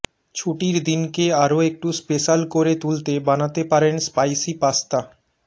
ছুটির দিনকে আরও একটু স্পেশাল করে তুলতে বানাতে পারেন স্পাইসি পাস্তা